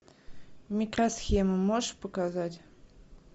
микросхема можешь показать